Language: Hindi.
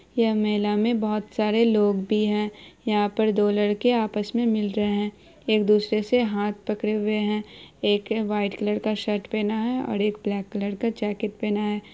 यह मेले मे बहुत सारे लोग भी है यहां पे दो लड़के आपस मे मिल रहे है एक दूसरे से हाथ पकड़े हुए है एक के व्हाइट कलर का शर्ट पहना है और एक ब्लैक कलर का जैकेट पहना है।